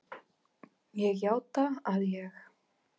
Ég játa að ég